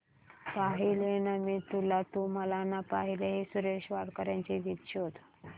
पाहिले ना मी तुला तू मला ना पाहिले हे सुरेश वाडकर यांचे गीत शोध